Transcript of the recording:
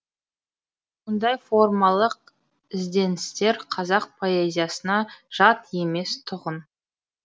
мұндай формалық ізденістер қазақ поэзиясына жат емес тұғын